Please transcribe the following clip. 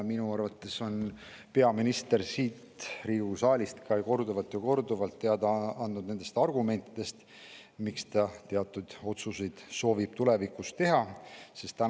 Minu arvates on peaminister siit Riigikogu saalist korduvalt teada andnud oma argumentidest, miks ta soovib tulevikus teatud otsuseid teha.